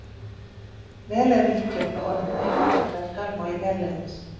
Vel er líklegt að orðið þekkist eitthvað í talmáli hérlendis.